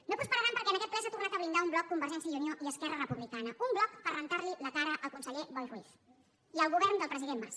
i no prosperaran perquè en aquest ple s’ha tornat a blindar un bloc convergència i unió i esquerra republicana un bloc per rentar li la cara al conseller boi ruiz i al govern del president mas